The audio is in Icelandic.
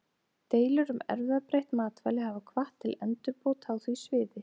Deilur um erfðabreytt matvæli hafa hvatt til endurbóta á því sviði.